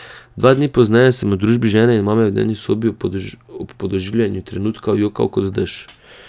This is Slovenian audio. Dva dni pozneje sem v družbi žene in mame v dnevni sobi ob podoživljanju trenutkov jokal kot dež.